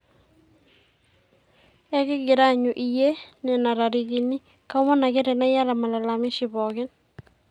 ekigira aanyu iyie nena tarikini, kaomon ake tenaa iyata malalamishi pooki